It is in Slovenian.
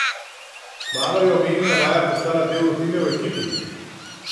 Kmalu je omenjena vaja postala del rutine v ekipi.